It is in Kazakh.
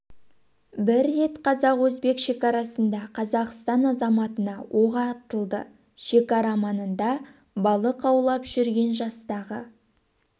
бір рет қазақ-өзбек шекарасында қазақстан азаматына оқ атылды шекара маңында балық аулап жүрген жастағы